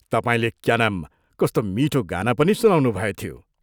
तपाईंले क्या नाम कस्तो मीठो गाना पनि सुनाउनुभएथ्यो।